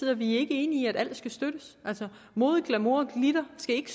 er vi ikke enige i at alt skal støttes altså mode glamour og glitter skal ikke